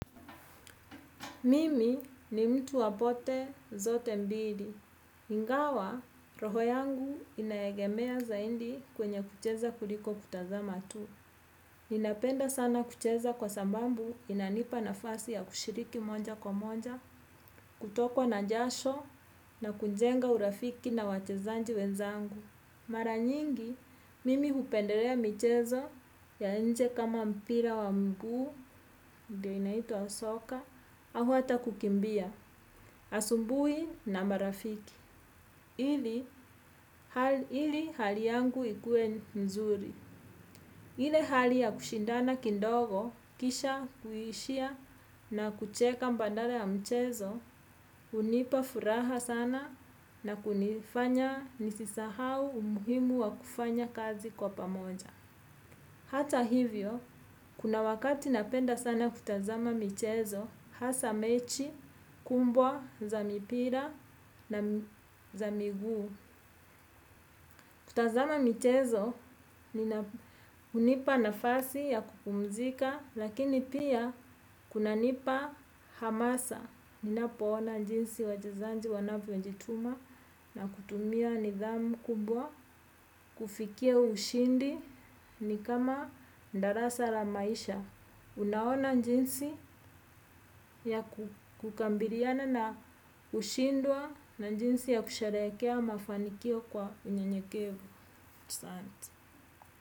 Mimi ni mtu wapote zote mbili. Ingawa, roho yangu inaegemea zaidi kwenye kucheza kuliko kutazama tu. Ninapenda sana kucheza kwa sababu inanipa nafasi ya kushiriki moja kwa moja, kutokwa na jasho na kujenga urafiki na wachezaji wenzangu. Mara nyingi, mimi hupendelea michezo ya nje kama mpira wa mguu, ndio inaitwa soka, au hata kukimbia, asubuhi na marafiki. Ili hali yangu ikue nzuri. Ile hali ya kushindana kidogo, kisha kuishia na kucheka badala ya mchezo, hunipa furaha sana na kunifanya nisisahau umuhimu wa kufanya kazi kwa pamoja. Hata hivyo, kuna wakati napenda sana kutazama michezo, hasa mechi, kubwa, za mipira na za miguu. Kutazama michezo, nina hunipa nafasi ya kupumzika, lakini pia kunanipa hamasa. Ninapoona jinsi wachezaji wanavyojituma na kutumia nidhamu kubwa, kufikia ushindi ni kama darasa la maisha. Unaona jinsi ya kukabiliana na ushindwa na jinsi ya kusherehekea mafanikio kwa unyenyekevu.